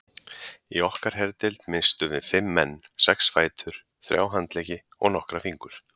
Í okkar herdeild misstum við fimm menn, sex fætur, þrjá handleggi og nokkra fingur.